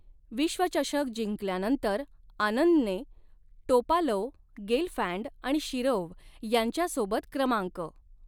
विश्वचषक जिंकल्यानंतर, आनंदने टोपालोव, गेलफँड आणि शिरोव्ह यांच्यासोबत क्रमांक.